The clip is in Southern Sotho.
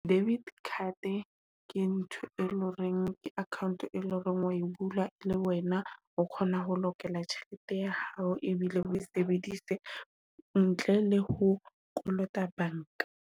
Debit card ke ntho e loreng ke account, e leng hore o bula e le wena o kgona ho lokela tjhelete ya hao ebile o sebedise ntle le ho kolota banka.